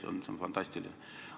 See on fantastiline!